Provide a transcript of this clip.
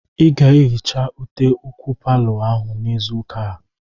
Ị ga-ehicha ute ụkwụ palọ ahụ n'izu ụka a!